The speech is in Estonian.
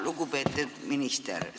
Lugupeetud minister!